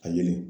A yelen